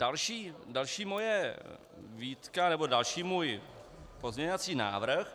Další moje výtka nebo další můj pozměňovací návrh -